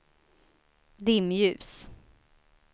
dimljus